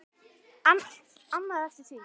Annað er eftir því.